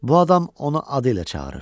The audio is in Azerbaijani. Bu adam onu adı ilə çağırır.